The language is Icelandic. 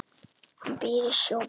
Hann býr í Sjóbúð.